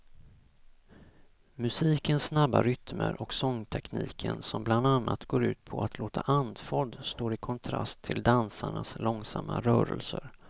Musikens snabba rytmer och sångtekniken som bland annat går ut på att låta andfådd står i kontrast till dansarnas långsamma rörelser.